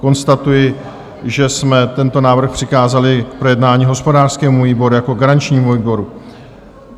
Konstatuji, že jsme tento návrh přikázali k projednání hospodářskému výboru jako garančnímu výboru.